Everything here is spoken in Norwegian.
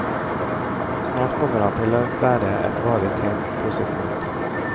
Snart kommer han til å bære et varig tegn på sitt mot.